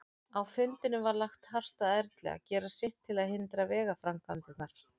Á fundinum var lagt hart að Erlu að gera sitt til að hindra vegaframkvæmdirnar.